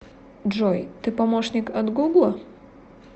джой ты помощник от гугла